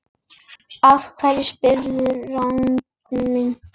Af hverju spyrðu, Ragnar minn?